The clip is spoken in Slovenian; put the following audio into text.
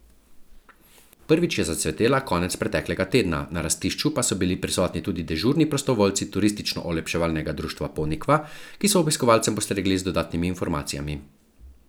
Prvič je zacvetela konec preteklega tedna, na rastišču pa so bili prisotni tudi dežurni prostovoljci Turistično olepševalnega društva Ponikva, ki so obiskovalcem postregli z dodatnimi informacijami.